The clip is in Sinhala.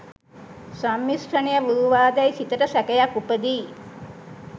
සම්මිශ්‍රණය වූවා දැයි සිතට සැකයක් උපදියි.